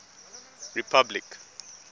republic